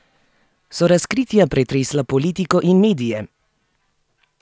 So razkritja pretresla politiko in medije?